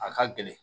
A ka gɛlɛn